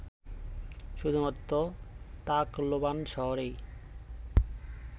শুধুমাত্র তাকলোবান শহরেই